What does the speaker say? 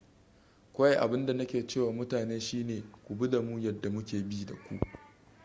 kawai abin da na ke ce wa mutane shine ku bi da mu yadda muke bi da ku